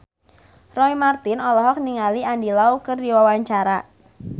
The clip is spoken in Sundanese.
Roy Marten olohok ningali Andy Lau keur diwawancara